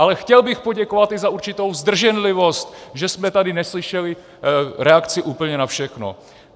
Ale chtěl bych poděkovat i za určitou zdrženlivost, že jsme tady neslyšeli reakci úplně na všechno.